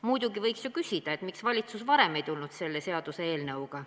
Muidugi võiks ju küsida, miks valitsus varem ei tulnud selle seaduseelnõuga.